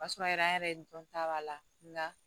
O y'a sɔrɔ an yɛrɛ ye dɔnta b'a la nka